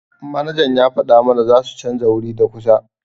Manajan ya fada mana zasu chanza wuri da kusa.